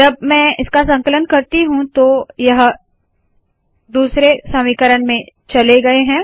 जब मैं इसका संकलन करती हूँ तो यह दूसरे समीकरण में चले गए है